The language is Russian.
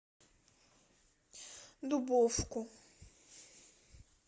дубовку